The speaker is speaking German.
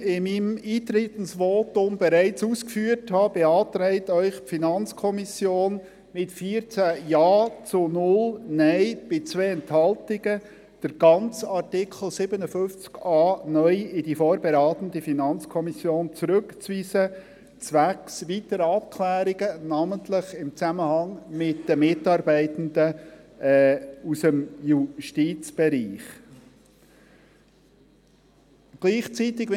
Wie ich in meinem Eintretensvotum bereits ausgeführt habe, beantragt Ihnen die FiKo mit 14 Ja- gegen 0 Nein-Stimmen bei 2 Enthaltungen, den ganzen Artikel 57a (neu) zwecks weiteren Abklärungen, namentlich im Zusammenhang mit den Mitarbeitenden aus dem Justizbereich, an die vorberatende FiKo zurückzuweisen.